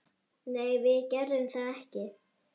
Nei, við gerðum það ekki.